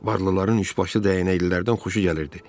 Varlıların üçbaşlı dəyənəklərdən xoşu gəlirdi.